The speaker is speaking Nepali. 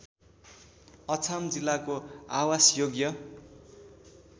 अछाम जिल्लाको आवासयोग्य